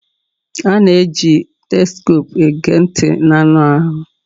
A na-eji stethoscopu ege ntị anụ ahụ